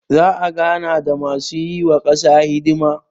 za a gana da masu yi wa kasa hisdima